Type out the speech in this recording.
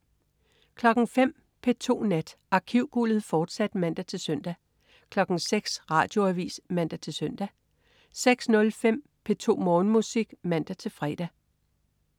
05.00 P2 Nat. Arkivguldet, fortsat (man-søn) 06.00 Radioavis (man-søn) 06.05 P2 Morgenmusik (man-fre)